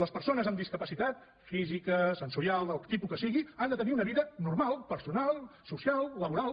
les persones amb discapacitat física sensorial del tipus que sigui han de tenir una vida normal personal social laboral